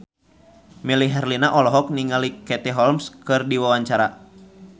Melly Herlina olohok ningali Katie Holmes keur diwawancara